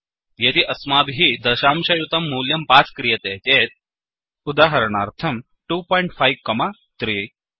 यदि अस्माभिः दशांशयुतं मूल्यं पास् क्रियते चेत् उदाहरणार्थं 25 कोमा 3